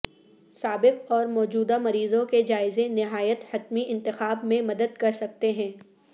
سابق اور موجودہ مریضوں کے جائزے نہایت حتمی انتخاب میں مدد کر سکتے ہیں